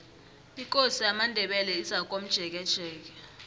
ikosi yamandebele izakomjekejeke